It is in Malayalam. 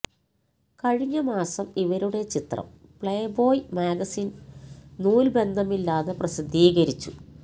കഴിഞ്ഞ മാസം ഇവരുടെ ചിത്രം പ്ലേ ബോയി മാഗസിൻ നൂൽബന്ധമില്ലാതെ പ്രസിദ്ധീകരിച്ചു